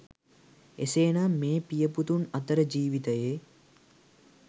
එසේ නම් මේ පිය පුතුන් අතර ජීවිතයේ